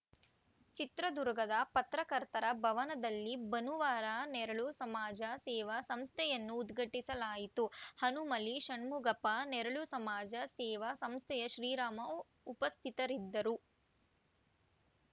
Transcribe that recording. ಚಿತ್ರದುರ್ಗದ ಪತ್ರಕರ್ತರ ಭವನದಲ್ಲಿ ಭನುವಾರ ನೆರಳು ಸಮಾಜ ಸೇವಾ ಸಂಸ್ಥೆಯನ್ನು ಉದ್ಘಾಟಿಸಲಾಯಿತು ಹನುಮಲಿ ಷಣ್ಮುಖಪ್ಪ ನೆರಳು ಸಮಾಜ ಸೇವಾ ಸಂಸ್ಥೆಯ ಶ್ರೀರಾಮ ಉಪಸ್ಥಿತರಿದ್ದರು